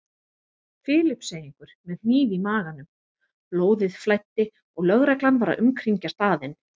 Filippseyingur með hníf í maganum, blóðið flæddi og lögreglan var að umkringja staðinn.